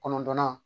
Kɔnɔntɔnnan